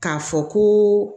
K'a fɔ koo